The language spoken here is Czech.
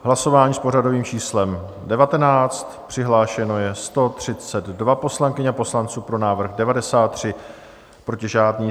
Hlasování s pořadovým číslem 19, přihlášeno je 132 poslankyň a poslanců, pro návrh 93, proti žádný.